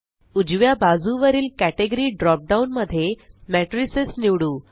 उजव्या बाजुवरील category drop down मध्ये मॅट्रिसेस निवडू